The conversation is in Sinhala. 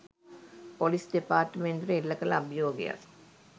පොලිස් දෙපාර්තමේන්තුවට එල්ලකල අභියෝගයක්